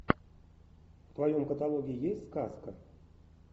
в твоем каталоге есть сказка